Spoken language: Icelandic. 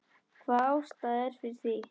Hvaða ástæða er fyrir því?